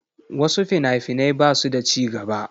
Wasu fina-finai ba su da ci gaba.